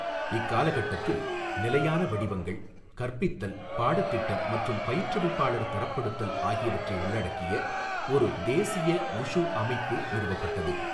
இக்காலகட்டத்தில், நிலையான வடிவங்கள், கற்பித்தல் பாடத்திட்டம் மற்றும் பயிற்றுவிப்பாளர் தரப்படுத்தல் ஆகியவற்றை உள்ளடக்கிய ஒரு தேசிய வுஷு அமைப்பு நிறுவப்பட்டது.